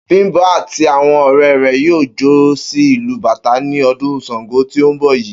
Bím̀bó̩ àti àwo̩n ò̩ré̩ rè̩ yóò jó sí ìlù bàtá ní o̩dún S̩àngó tí ó ń bò̩ yìí